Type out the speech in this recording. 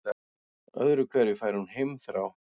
Öðru hverju fær hún heimþrá.